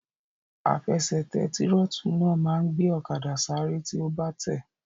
Àfẹsẹ̀tẹ̀ tírótù náà máa n gbé ọ̀kadà sáré tí o bá tẹ̀ẹ́